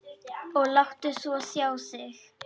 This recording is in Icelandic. Og láttu svo sjá þig.